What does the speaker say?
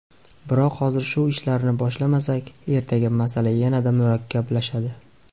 Biroq hozir shu ishlarni boshlamasak, ertaga masala yanada murakkablashadi.